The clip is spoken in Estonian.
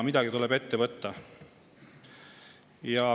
Midagi tuleb ette võtta.